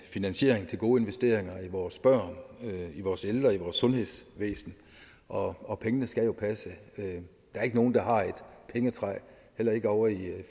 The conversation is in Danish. finansiering til gode investeringer i vores børn i vores ældre i vores sundhedsvæsen og og pengene skal jo passe der er ikke nogen der har et pengetræ heller ikke ovre i